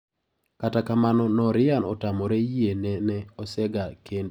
Kata kamano Nooria otamore yie ne ne osega kende.